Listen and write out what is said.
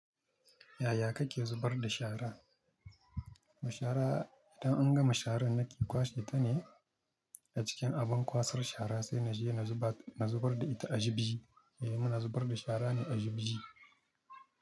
Yaya kake zubar da shara? Da shara idan an gama shara nake kwashe ta ne, a cikin abin kwasar shara sai na je na zubar da ita a juji. Eh muna zubar da shara ne a juji.